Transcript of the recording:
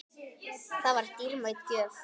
Það var dýrmæt gjöf.